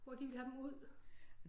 Hvor de ville have dem ud